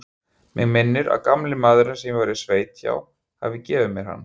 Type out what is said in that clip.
Mig minnir að gamli maðurinn, sem ég var í sveit hjá, hafi gefið mér hann.